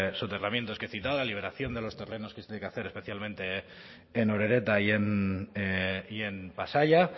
soterramientos que he citado la liberación de los terrenos que se tiene que hacer especialmente en orereta y en pasaia